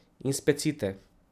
In specite.